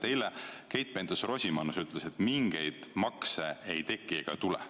Eile Keit Pentus-Rosimannus ütles, et mingeid uusi makse ei tule.